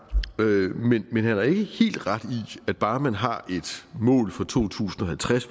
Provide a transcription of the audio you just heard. men han har ikke helt ret i at bare man har et mål for to tusind og halvtreds